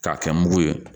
K'a kɛ mugu ye